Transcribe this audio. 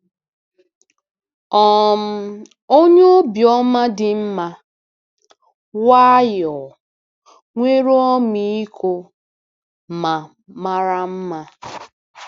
um Onye obiọma dị mma, nwayọọ, nwere ọmịiko, ma mara mma.